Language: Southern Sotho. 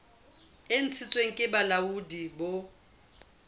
e ntshitsweng ke bolaodi bo